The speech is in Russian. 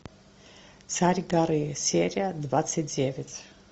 царь горы серия двадцать девять